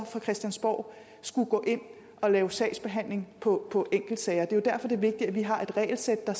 fra christiansborg gå ind og lave sagsbehandling på enkeltsager det er jo derfor det er vigtigt at vi har et regelsæt der